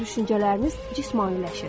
Sizin düşüncələriniz cismaniləşir.